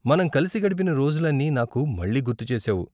మనం కలిసి గడిపిన రోజులన్నీ నాకు మళ్ళీ గుర్తు చేశావు.